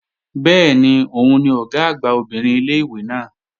Bẹ́ẹ̀ni, òun ni Ọ̀gá àgbà obìnrin ilé-ìwé náà